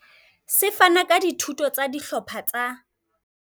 Se fana ka dithuto tsa dihlopha tsa